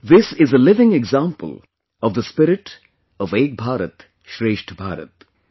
This is a living example of the spirit of 'Ek Bharat Shrestha Bharat'